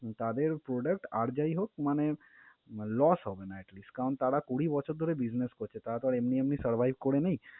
তাদের product আর যাই হোক মানে loss হবে না at least কারণ তারা কুড়ি বছর ধরে business করছে, তারা তো আর এমনি এমনি survive করে নাই।